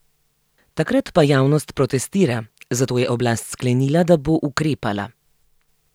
Tokrat pa javnost protestira, zato je oblast sklenila, da bo ukrepala.